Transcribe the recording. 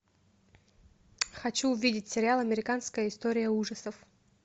хочу увидеть сериал американская история ужасов